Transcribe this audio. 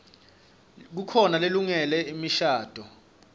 kukhona lelungele imishadvo